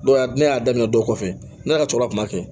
Dɔw y'a ne y'a daminɛ dɔw kɔfɛ ne ka cɛkɔrɔba kun b'a kɛ